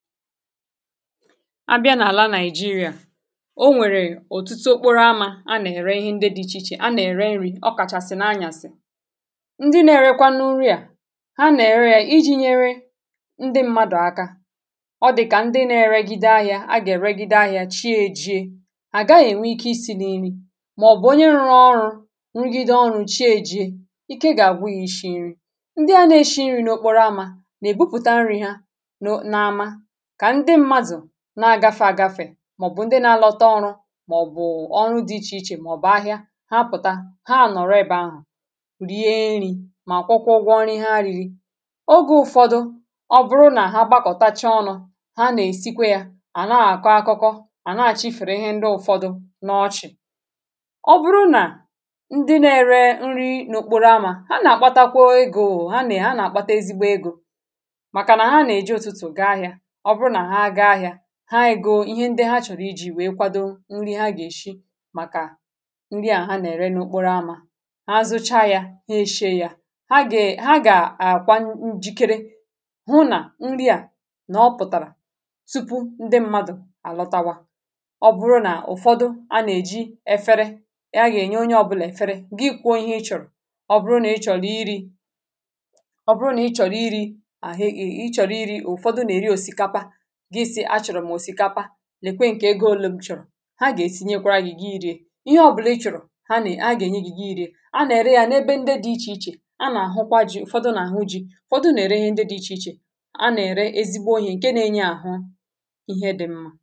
á bịa n’àla nàịjirịȧ o nwèrè òtụtụ okporo amȧ a nà-ère ihe ndị dị̇ ichè ichè a nà-ère nri̇ ọ kàchàsị̀ na anyàsị̀ ndị na-erekwa n’ụrị̇ à ha nà-ère ya iji̇ nyere ndị mmadụ̀ aka ọ dị kà ndị na-egide ahịȧ a gà-èregide ahịȧ chi a èjie à ga-ènwe isi n’imi mà ọ̀bụ̀ onye nrọ ọrụ̇ nrugide ọrụ̇ chi a èjie ike gà-àgbụghị ịshì nri ndị a na-eshi nri̇ n’okporo amȧ nà-èbupụ̀ta nri̇ ha na ama kà ndị mmadụ̀ na-agafe àgafè màọ̀bụ̀ ndị na-alọta ọrụ màọ̀bụ̀ ọrụ dị ichè ichè màọ̀bụ̀ ahịa ha pụ̀ta, ha ànọ̀rọ ebe ahụ̀ rie nri̇ mà kwọkwọgwọ ọnị̇ ihe arị̇rị̇ ogė ụ̀fọdụ, ọ bụrụ nà ha gbakọtacha ọnụ̇ ha nà-èsikwa yȧ à na-àkọ akọkọ à na-àchifèrè ihe ndị ụ̀fọdụ n’ọchị̀ ọ bụrụ nà ndị na-ere nri n’ụkpụrụ amà ha nà-àkpatakwa egȯ ha nà ha nà-àkpata ezigbò egȯ ihe ndị ha chọ̀rọ̀ iji̇ wèe kwado nri ha gà-èshi màkà nri à ha nà-ère n’okporoamȧ ha zucha yȧ ha eshie yȧ ha gà, ha gà àkwa njikere hụ nà nri à nà ọ pụ̀tàrà tupu ndị mmadụ̀ àlọtawa ọ bụrụ nà ụ̀fọdụ a nà-èji efere ihe agà-ènye onye ọbụlà efere gị kwụọ ihe ị chọ̀rọ̀ ọ bụrụ nà ị chọ̀rọ̀ iri ọ bụrụ nà ị chọ̀rọ̀ iri àhụ e, ị chọ̀rọ̀ iri ụ̀fọdụ nà-èri òsìkapa nà-èkwe ǹkè ego òle m chọ̀rọ̀ ha gà-èsinyekwara yi̇ghi̇ iri̇ė ihe ọ̀ bụlà ị chọ̀rọ̀ ha nà a gà-ènye yi̇gị̇ iri̇ė a nà-ère ya n’ ebe ndị dị̇ ichè ichè a nà-àhụkwa ji̇ ụ̀fọdụ nà-àhụ ji̇ ụ̀fọdụ nà-ère ihe ndị dị̇ ichè ichè a nà-ère ezigbo ihė ǹke nȧ-enye àhụ ihe dị̇ mmȧ